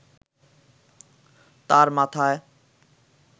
তাঁর মাথায়